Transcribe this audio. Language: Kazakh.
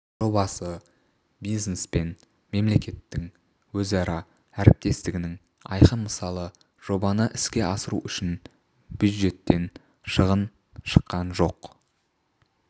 жобасы бизнес пен мемлекеттің өзара әріптестігінің айқын мысалы жобаны іске асыру үшін бюджеттен шығын шыққан жоқ